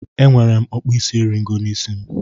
Enwere m okpuisieriego n'isi m